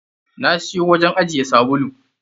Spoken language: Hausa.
Na siyo wajen ajiye sabulu.